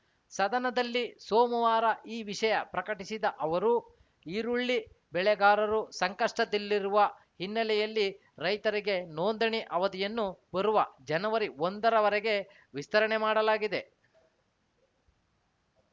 ಸದನದಲ್ಲಿ ಸೋಮವಾರ ಈ ವಿಷಯ ಪ್ರಕಟಿಸಿದ ಅವರು ಈರುಳ್ಳಿ ಬೆಳೆಗಾರರು ಸಂಕಷ್ಟದಲ್ಲಿರುವ ಹಿನ್ನೆಲೆಯಲ್ಲಿ ರೈತರಿಗೆ ನೋಂದಣಿ ಅವಧಿಯನ್ನು ಬರುವ ಜನವರಿ ಒಂದರ ವರೆಗೆ ವಿಸ್ತರಣೆ ಮಾಡಲಾಗಿದೆ